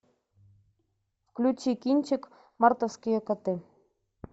включи кинчик мартовские коты